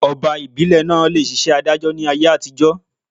Ọba ìbílè naa le ṣiṣẹ́ adájọ́ ni ayé àtijọ́